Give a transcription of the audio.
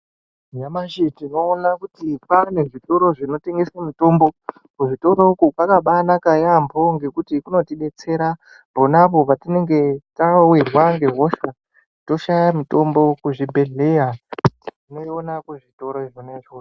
Nyamashi tinoona kuti kwane zvitoro zvinotengese mitombo, kuzvitoro uku kwakambanaka yaamho ngekuti kunotidetsera ponapo patinenge tawirwa ngehosha toshaya mitombo kuzvibhedhleya. Tinoiona kuzvitoro zvona izvozvo.